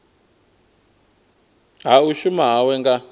ha u shuma hawe nga